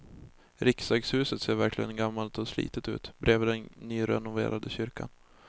Riksdagshuset ser verkligen gammalt och slitet ut bredvid den nyrenoverade kyrkan.